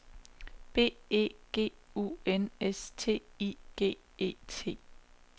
B E G U N S T I G E T